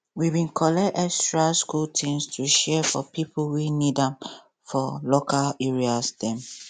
we bin collect extra school things to share for pipo wey need am for local areas dem